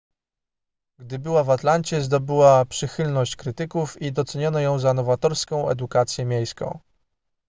gdy była w atlancie zdobyła przychylność krytyków i doceniono ją za nowatorską edukację miejską